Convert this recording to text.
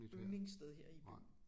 Yndlingssted her i byen